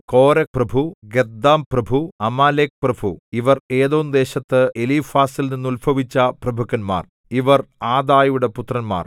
കോരഹ്പ്രഭു ഗത്ഥാംപ്രഭു അമാലേക്പ്രഭു ഇവർ ഏദോംദേശത്ത് എലീഫാസിൽ നിന്നുത്ഭവിച്ച പ്രഭുക്കന്മാർ ഇവർ ആദായുടെ പുത്രന്മാർ